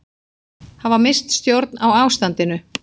Hafa misst stjórn á ástandinu